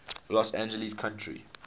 los angeles county